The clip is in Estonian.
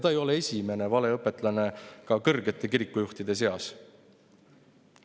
Ta ei ole esimene valeõpetlane ka kõrgete kirikujuhtide seas.